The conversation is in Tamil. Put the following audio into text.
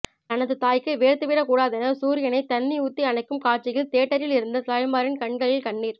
தனது தாய்க்கு வேர்த்து விடக்கூடாதென சூரியனை தண்ணி ஊத்தி அணைக்கும் காட்சியில் தியேட்டரில் இருந்த தாய்மாரின் கண்களில் கண்ணீர்